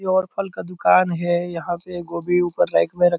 ये और फल का दुकान है यहाँ पे गोबी ऊपर राइट मे र --